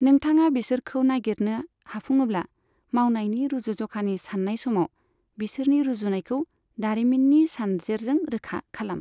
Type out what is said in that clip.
नोंथाङा बिसोरखौ नागिरनो हाफुङोब्ला, मावनायनि रूजुज'खानि साननाय समाव बिसोरनि रुजुनायखौ दारिमिननि सानजेरजों रोखा खालाम।